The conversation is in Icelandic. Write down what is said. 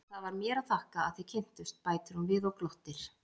Og það var mér að þakka að þið kynntust, bætir hún við og glottir.